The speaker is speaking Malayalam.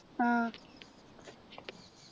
ആഹ്